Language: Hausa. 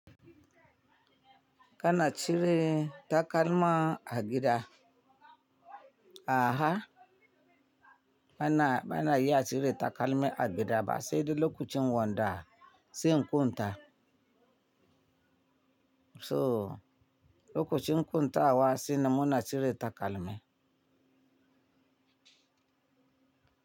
Kana cire takalma a gida. A ha bana, bana iya cire takalmi a gida ba sai da lokacin wanda, sai in kunta. To lokacin kunta wa sai numuna cire takalmi.